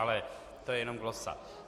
Ale to je jen glosa.